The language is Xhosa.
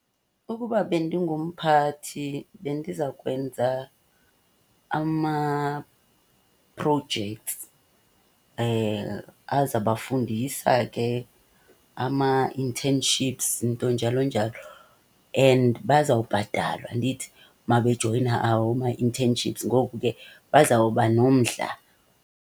Ukuba bendingumphathi bendiza kwenza ama-projects azabafundisa ke ama-internships nto njalo njalo. And bazawubhatalwa ndithi uma bejoyina awo ma-internships. Ngoku ke bazawuba nomdla.